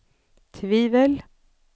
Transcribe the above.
tvivel